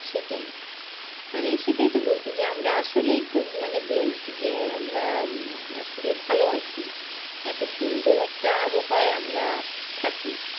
সেটাই মানে সেটাই তো বলছি যে আমরা আসলেই খুব মানে blessed যে আমরা আসলে ভালো আছি এতো সুন্দর একটা আবহাওয়ায় আমরা থাকি।